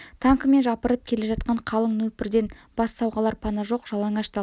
танкімен жапырып келе жатқан қалың нөпірден бас сауғалар пана жоқ жалаңаш дала